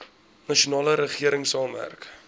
nasionale regering saamwerk